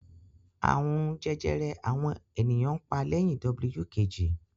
Àrùn jẹjẹrẹ àwọn ènìyàn pa lẹ́yìn W Kejì